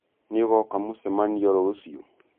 Nĩũgoka mũcemanĩo rũcĩũ?